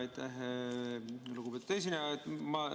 Aitäh, lugupeetud esineja!